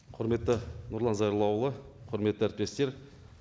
құрметті нұрлан зайроллаұлы құрметті әріптестер